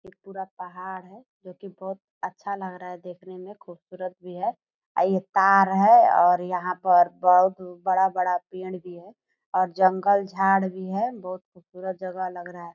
एक पूरा पहाड़ है जो कि बहोत अच्छा लग रहा है देखने में खूबसूरत भी है अ यह तार है और यहाँ पर बहुत बड़ा-बड़ा पेड़ भी है और जंगल झाड़ भी है बहुत खूबसूरत जगह लग रहा है ।